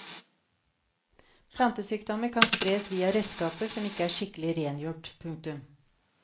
Plantesykdommer kan spres via redskaper som ikke er skikkelig rengjort. punktum